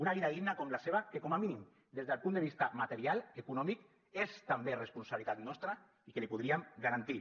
una vida digna com la seva que com a mínim des del punt de vista material econòmic és també responsabilitat nostra i que li podríem garantir